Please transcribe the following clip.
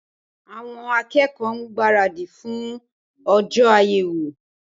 Awon akẹ́kọ̀ọ́ ń gbára dì fún ọjọ́ àyẹ̀wò